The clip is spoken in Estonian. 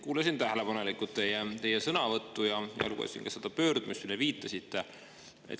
Kuulasin tähelepanelikult teie sõnavõttu ja lugesin ka seda pöördumist, millele te viitasite.